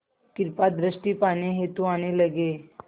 कृपा दृष्टि पाने हेतु आने लगे